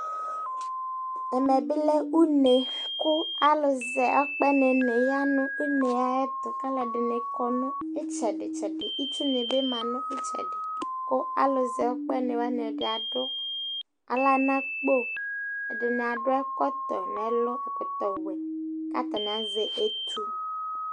ɛmɛ bi lɛ une kò alo zɛ akpɛni ni ya n'une ayɛto k'aloɛdini kɔ no itsɛdi tsɛdi itsu ni bi ma no itsɛdi kò alo zɛ akpɛni wani ɛdi ado ala no akpo ɛdi ado ɛkɔtɔ n'ɛlu ɛkɔtɔ wɛ k'atani azɛ etu